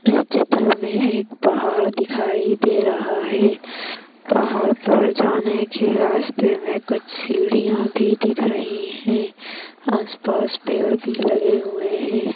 इस चित्र मै एक पहाड़ दिखाई दे रहा है पहाड़ पर जाने के रास्ते मै कुछ सीढ़ियाँ भी दिख रही है आस पास पेड़ भी लगे हुए है।